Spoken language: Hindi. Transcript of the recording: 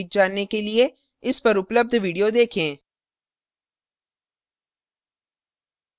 इस पर उपलब्ध video देखें